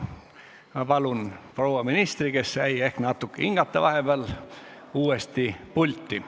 Ma palun proua ministri, kes sai vahepeal ehk natuke hinge tõmmata, uuesti pulti.